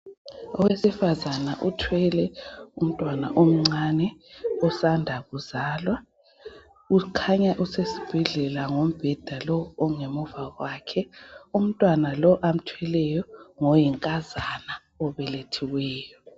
Owesifazana uthwele umntwana omncane osanda kuzalwa . Kukhanya usesibheldela ngombheda lo ongemuva kwakhe . Umntwana lo amthweleyo ngoyinkazana obelethiweyo